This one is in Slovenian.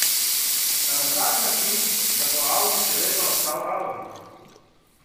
A na tak način, da bo audi še vedno ostal audi.